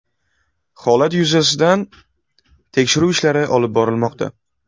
Holat yuzasidan tekshiruv ishlari olib borilmoqda.